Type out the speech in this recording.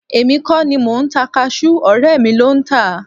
Èmi kọ́ ni mò ń ta kasú ọ̀rẹ́ mi ló ń tà á